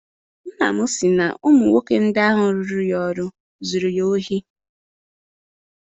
Nna m si na ụmụ nwoke ndị ahụ rụọro ya ọrụ zụrụ ya ohi.